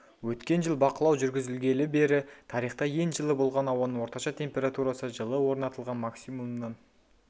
өткен жыл бақылау жүргізілгелі бері тарихта ең жылы болған ауаның орташа температурасы жылы орнатылған максимумнан